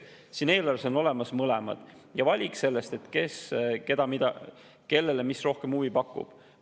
Siin eelarves on olemas mõlemad ja valik sellest, mis kellele rohkem huvi pakub.